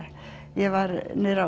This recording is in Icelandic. ég var niður á